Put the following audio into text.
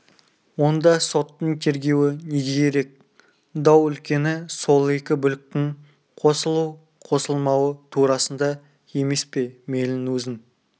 онда соттың тергеуі неге керек дау үлкені сол екі бүліктің қосылу-қосылмауы турасында емес пе мейлің өзің